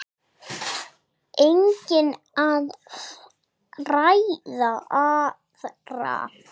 Einnig að fræða aðra.